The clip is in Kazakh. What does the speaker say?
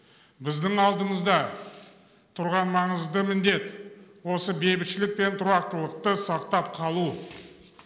біздің алдымызда тұрған маңызды міндет осы бейбітшілік пен тұрақтылықты сақтап қалу